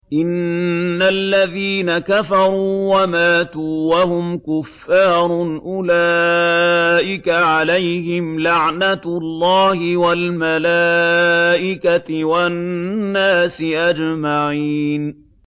إِنَّ الَّذِينَ كَفَرُوا وَمَاتُوا وَهُمْ كُفَّارٌ أُولَٰئِكَ عَلَيْهِمْ لَعْنَةُ اللَّهِ وَالْمَلَائِكَةِ وَالنَّاسِ أَجْمَعِينَ